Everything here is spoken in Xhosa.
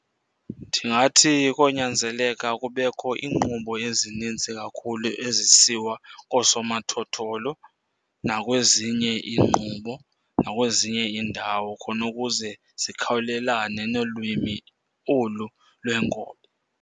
Ndingathi konyanzeleka kubekho iinkqubo ezininzi kakhulu ezisiwa koosomathotholo nakwezinye inkqubo, nakwezinye iindawo khona ukuze zikhawulelane nolwimi olu lwenkobe.